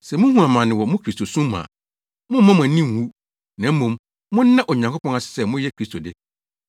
Na sɛ muhu amane wɔ mo Kristosom mu a, mommma mo ani nnwu, na mmom, monna Onyankopɔn ase sɛ moyɛ Kristo de.